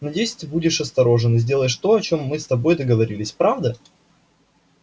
надеюсь ты будешь осторожен и сделаешь то о чем мы с тобой договорились правда